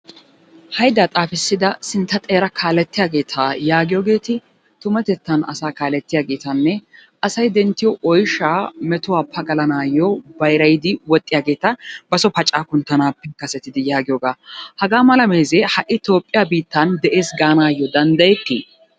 Haydaa xaafissida sintta xeera kaalettiyageeta yaagiyogeeti tumatettan asaa kaalettiyageetanne asay denttiyo oyshaa metuwa pagalanaayyo bayrayidi woxxiyageeta baso pacaa kunttanaappe kasetidi yaagiyogaa. Haga mala meezee ha"i Toophphiya biittan de'ees gaanaayyo danddayettii?